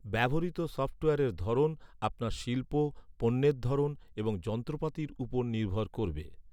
ব্যবহৃত সফটওয়্যারের ধরন আপনার শিল্প, পণ্যের ধরন এবং যন্ত্রপাতির উপর নির্ভর করবে।